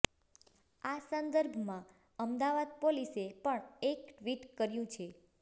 આ સંદર્ભમાં અમદાવાદ પોલીસે પણ એક ટ્વીટ કર્યું છે